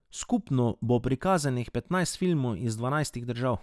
Skupno bo prikazanih petnajst filmov iz dvanajstih držav.